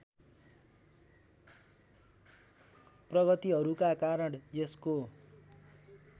प्रगतिहरूका कारण यसको